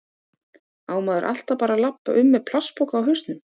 Á maður alltaf bara að labba um með plastpoka á hausnum?